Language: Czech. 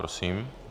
Prosím.